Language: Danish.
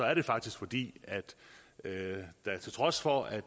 er det faktisk fordi der til trods for at